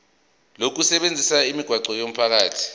lokusebenzisa imigwaqo yomphakathi